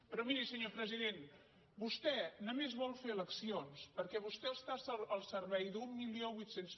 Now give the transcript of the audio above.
però miri senyor president vostè només vol fer elec·cions perquè vostè està al servei d’mil vuit cents